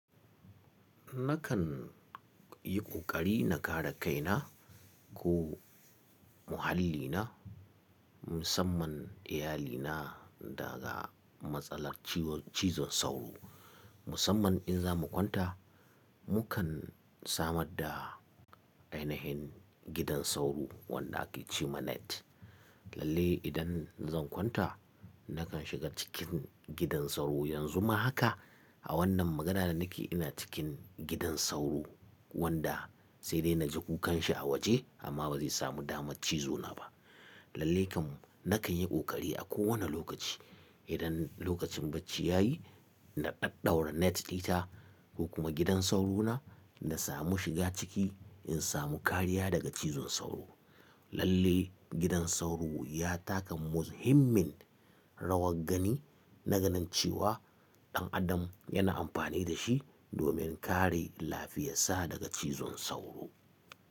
Nakan yi ƙoƙari na kare kaina ko muhallina musamman iyalina daga matsalar cizon sauro musamman in za mu kwanta mukan samar da ainihin gidan sauro wanda ake ce ma net. Lalle idan zan kwanta nakan shiga cikin gidan sauro yanzu ma haka a wannan magana da nake ina cikin gidan sauro wanda sai dai na ji kukanshi a waje amma ba zai samu dama cizo na ba. Lalle kan nakan yi kokari a ko wane lokaci idan lokacin bacci ya yi na ɗaɗaura net ɗita ko kuma gidan sauro na na samu shiga ciki in samu kariya daga cizon sauro. Lalle gidan sauro ya taka muhimmin rawar gani naganincewa ɗan adam yana amfani da shi domin kare lafiyarsa daga cizon sauro.